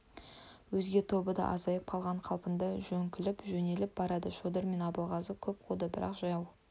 өзге тобы да азайып қалған қалпында жөңкіліп жөнеліп барады шодыр мен абылғазы көп қуды бірақ жау